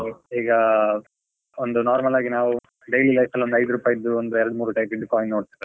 ಈಗಾ, ಒಂದು normal ಆಗಿ ನಾವು daily life ಅಲ್ಲಿ ಒಂದ್ ಇದು ರೂಪಾಯಿದು ಎರಡು ಮೂರೂ type ದು coin ನೋಡ್ತಿವಿ ಅಲ್ವಾ?